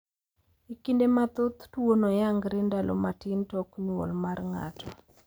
E kinde mathoth tuono yangre ndalo matin tok nyuol mar ng`ato.